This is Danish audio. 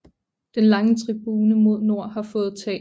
Den lange tribune mod nord har fået tag